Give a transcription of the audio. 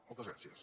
moltes gràcies